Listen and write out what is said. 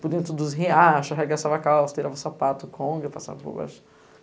Por dentro dos riachos, arregaçava calça, tirava sapato, conga, passava por baixo.